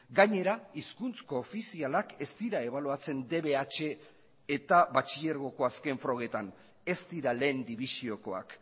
gainera hizkuntz koofizialak ez dira ebaluatzen dbh eta batxilergoko azken frogetan ez dira lehen dibisiokoak